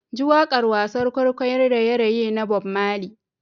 JI wakar wasan kwaikwayon raye-raye na Bob Marley.